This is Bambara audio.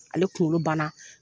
Ale kunkolo ban na.